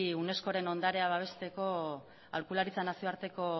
unescoren ondarea babesteko aholkularitza nazioarteko